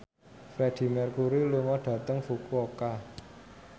Freedie Mercury lunga dhateng Fukuoka